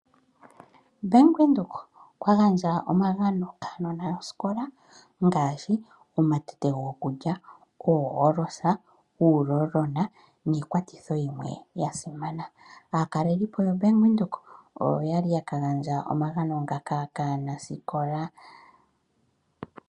Bank Windhoek okwa gandja omagano kaanona yoskola, ngaashi omatete gokulya, oo olosa, uuroll-on niikwathitho yimwe yasimana. Aakalelipo yoBank Windhoek oyo yali yaka gandja omagano ngaka kaanasikola.